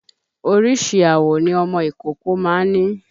Oríṣi àwọ̀ ni ọmọ ìkókó ma ń ní.